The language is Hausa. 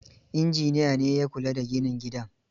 Injiniya ne ya kula da ginin gidan.